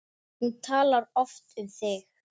Með kærri kveðju.